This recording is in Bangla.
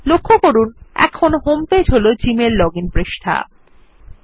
লক্ষ্য করুন যে জিমেইল লগইন পৃষ্ঠা এখন হোমপেজ